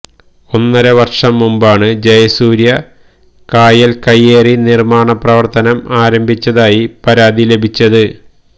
ഒന്നര വര്ഷം മുമ്പാണ് ജയസൂര്യ കായല് കയ്യേറി നിര്മ്മാണ പ്രവര്ത്തനം ആരംഭിച്ചതായി പരാതി ലഭിച്ചത്